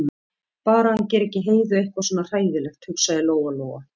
Bara að hann geri ekki Heiðu eitthvað svona hræðilegt, hugsaði Lóa-Lóa.